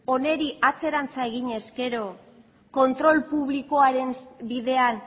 honi atzerantz egin ezkero kontrol publikoaren bidean